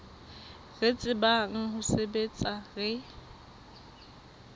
re tsebang ho sebetsa re